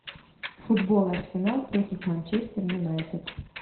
футбол арсенал против манчестер юнайтед